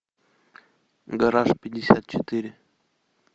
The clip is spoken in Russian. гараж пятьдесят четыре